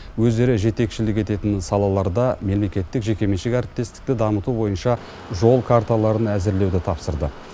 өздері жетекшілік ететін салаларда мемлекеттік жекеменшік әріптестікті дамыту бойынша жол карталарын әзірлеуді тапсырды